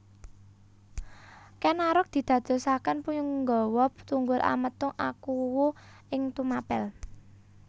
Kèn Arok didadosaken punggawa Tunggul Ametung akuwu ing Tumapèl